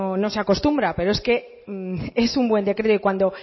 no se acostumbra pero es que un buen decreto y cuando